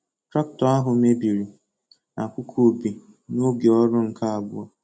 Traktọ ahụ mebiri n'akụkụ ubi n'oge ọrụ nke abụọ.